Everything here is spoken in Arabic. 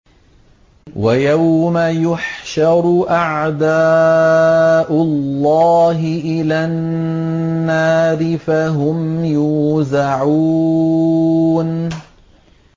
وَيَوْمَ يُحْشَرُ أَعْدَاءُ اللَّهِ إِلَى النَّارِ فَهُمْ يُوزَعُونَ